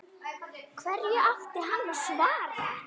Hverju átti hann að svara?